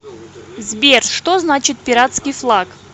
сбер что значит пиратский флаг